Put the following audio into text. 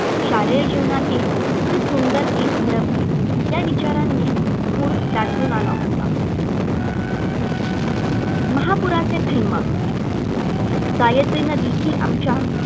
शालेय जीवनातील ते सुंदर दिन हरपले. या विचारांनी ऊर दाटून आला होता. महापूराचे थैमान. गायत्री नदी ही आमच्या